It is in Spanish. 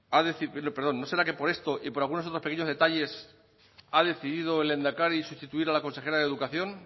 perdón no será que por esto y por algunos otros pequeños detalles ha decidido el lehendakari sustituir a la consejera de educación